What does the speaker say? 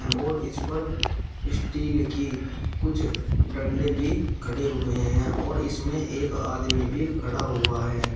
और इस पर स्टील की कुछ डंडे भी खड़े हुए हैं और इसमें एक आदमी भी खड़ा हुआ है।